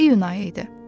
İyun ayı idi.